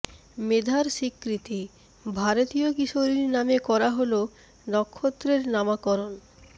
মেধার স্বীকৃতিঃ ভারতীয় কিশোরীর নামে করা হোল নক্ষত্রের নামাকরন